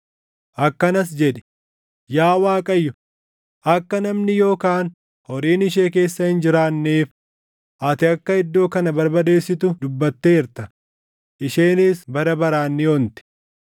Akkanas jedhi: ‘Yaa Waaqayyo, akka namni yookaan horiin ishee keessa hin jiraanneef ati akka iddoo kana barbadeessitu dubbatteerta; isheenis bara baraan ni onti.’